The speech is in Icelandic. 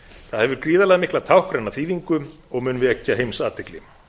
það hefur gríðarmikla táknræna þýðingu og mun vekja heimsathygli